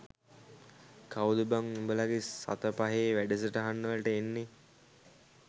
කවුද බං උඹලගෙ සත පහේ වැඩසටහන් වලට එන්නේ